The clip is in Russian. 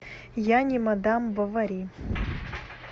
я не мадам бовари